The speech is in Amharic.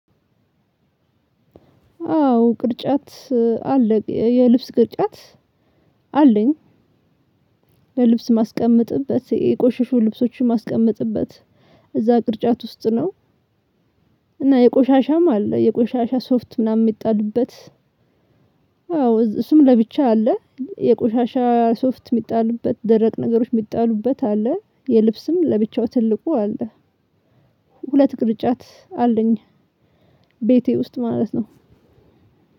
አዎ ቅርጫት አለ የልብስ ቅርጫት አለኝ ለልብስ ማስቀምጥበት የቆሸሹ ልብሶችን ማስቀምጥበት እዛ ቅርጫት ውስጥ ነው። እና የቆሻሻም አለ የቆሻሻ ሶፍት ምናምን የሚጣልበት። አዎ እሱም ለብቻ አለ የቆሻሻ ሶፍት የሚጣልበት ደረቅ ነገሮች የሚጣሉበት አለ የልብስም ለብቻው ትልቁ አለ። ሁለት ቅርጫት አለኝ። ቤቴ ውስጥ ማለት ነው።